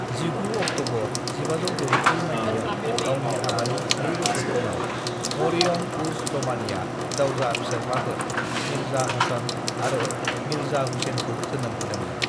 "19 October 1564 माइथायाव, गावनि हाबानि नै बोसोर उनाव, मरियम-उज़-ज़मानीआ जावजा फिसाज्लाफोर, मिर्जा हसन आरो मिर्जा हुसैनखौ जोनोम होदोंमोन।"